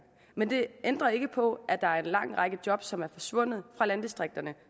men det ændrer ikke på at der er en lang række jobs som er forsvundet fra landdistrikterne